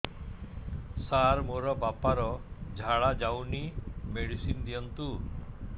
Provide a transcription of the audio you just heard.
ସାର ମୋର ବାପା ର ଝାଡା ଯାଉନି ମେଡିସିନ ଦିଅନ୍ତୁ